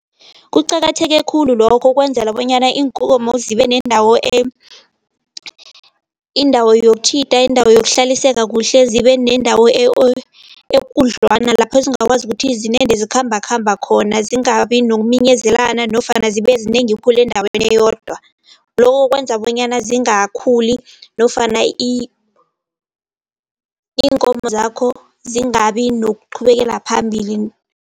Kuqakatheke khulu lokho, kwenzela bonyana iinkomo zibe nendawo indawo yokutjhida, indawo yokuhlaliseka kuhle, zibe nendawo ekudlwana lapho zingakwazi ukuthi zinande zikhamba khamba khona. Zingabi nokuminyezelana nofana zibe zinengi khulu endaweni eyodwa. Lokho kwenza bonyana zingakhuli nofana iinkomo zakho zingabi nokuqhubekela phambili.